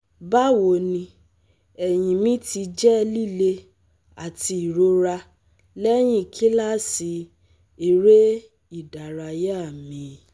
Bawoni, ẹhin mi ti jẹ lile ati irora lẹhin kilasi ere-idaraya mi